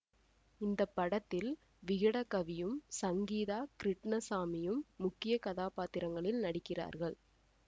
இந்த படத்தில் விகடகவியும் சங்கீதா கிருட்ணசாமியும் முக்கிய கதாபாத்திரங்களில் நடிக்கிறார்கள்